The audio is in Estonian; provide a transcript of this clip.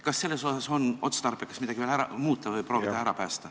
Kas siin on otstarbekas veel midagi muuta või proovida ära päästa?